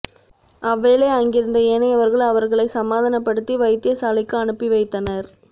அவ்வேளை அங்கிருந்த ஏனையவர்கள் அவர்களை சமாதானப்படுத்தி வைத்தியசாலைக்கு அனுப்பி வைத்தனர்